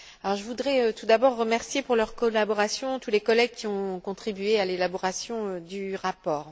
Je voudrais tout d'abord remercier pour leur collaboration tous les collègues qui ont contribué à l'élaboration du rapport.